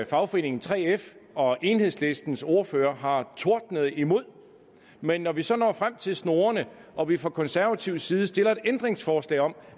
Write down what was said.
fagforeningen 3f og enhedslistens ordfører har tordnet imod men når vi så når frem til snorene og vi fra konservativ side stiller et ændringsforslag om